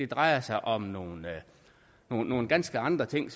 drejer sig om nogle nogle ganske andre ting